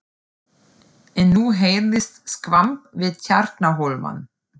En nú heyrðist skvamp við Tjarnarhólmann.